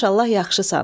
Maşallah yaxşısan.